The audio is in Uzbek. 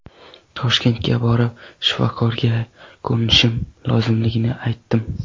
Toshkentga borib, shifokorlarga ko‘rinishim lozimligini aytdim.